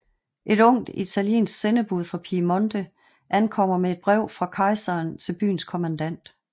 Et ungt italiensk sendebud fra Piemonte ankommer med et brev fra kejseren til byens kommandant